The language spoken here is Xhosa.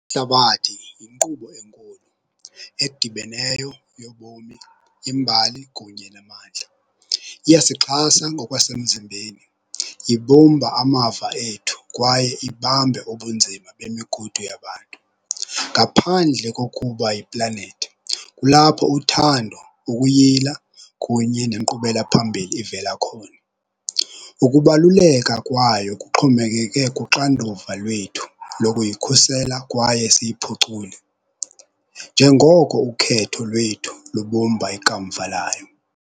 Ihlabathi yinkqubo enkulu edibeneyo yobomi, imbali kunye namandla. Iyasixhasa ngokwasemzimbeni, ibumba amava ethu kwaye ibambe ubunzima bemigudu yabantu. Ngaphandle kokuba yiplanethi kulapho uthando, ukuyila kunye nenkqubela phambili ivela khona. Ukubaluleka kwayo kuxhomekeke kuxanduva lwethu lokuyikhusela kwaye siyiphucule njengoko ukhetho lwethu lubumba ikamva layo.